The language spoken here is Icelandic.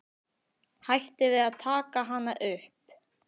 Hætti við að taka hana upp.